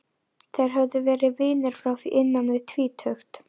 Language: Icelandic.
Þeir höfðu verið vinir frá því innan við tvítugt.